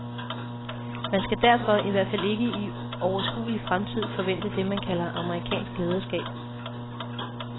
Man skal derfor, i hvert fald ikke i overskuelig fremtid, forvente det, man kalder amerikansk lederskab.